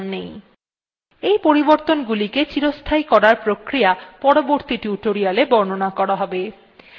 এই পরিবর্তনগুলিকে চিরস্থায়ী করার প্রক্রিয়া পরবর্তী tutorialwe বর্ণনা করা হবে